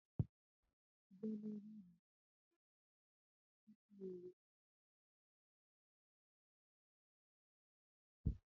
Ị bịa n'ahịa rilif dị n'Owere, ndị na-ere akwụkwọ nri mkpụrụ dị iche na ndị na-ere akwụkwọ nri ahịhịa